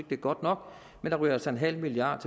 det er godt nok men der ryger altså en halv milliard